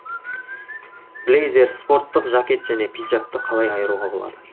блейзер спорттық жакет және пиджакты қалай айыруға болады